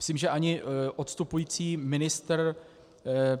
Myslím, že ani odstupující ministr